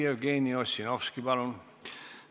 Jevgeni Ossinovski, palun!